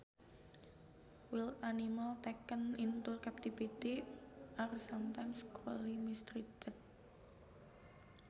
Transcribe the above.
Wild animals taken into captivity are sometimes cruelly mistreated